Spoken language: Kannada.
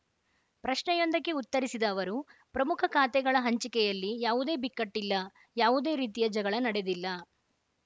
ಪ್ರಶ್ನೆಯೊಂದಕ್ಕೆ ಉತ್ತರಿಸಿದ ಅವರು ಪ್ರಮುಖ ಖಾತೆಗಳ ಹಂಚಿಕೆಯಲ್ಲಿ ಯಾವುದೇ ಬಿಕ್ಕಟ್ಟಿಲ್ಲ ಯಾವುದೇ ರೀತಿಯ ಜಗಳ ನಡೆದಿಲ್ಲ